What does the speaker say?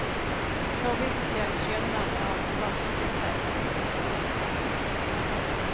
Så vidt jeg skjønner av vaskeseddel etc.